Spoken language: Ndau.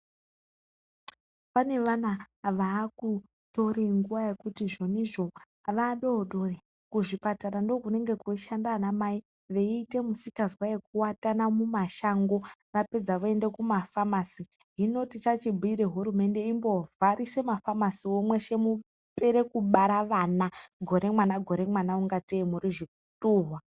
Pane vana vaakutore nguwa yekuti zvonizvo, vadodori kuzvipatara ndiko kunenge kweishande vanamai veite misikazwa yekuatana mumashango vapedza voende kumafamasi, hino tichachibhure hurumende imbovharise mafamasiwo mweshe mupere kubara vana, gore mwana, gore mwana kunga tei muri zvituhwa.